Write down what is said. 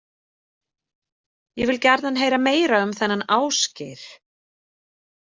Ég vil gjarnan heyra meira um þennan Ásgeir.